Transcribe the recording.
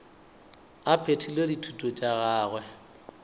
a phethile dithuto tša gagwe